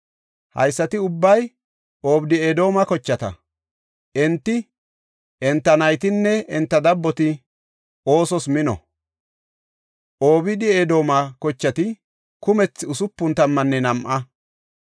Haysati ubbay Obeed-Edooma kochata; enti, enta naytanne enta dabboti oosos mino. Obeed-Edooma kochati kumethi usupun tammanne nam7a.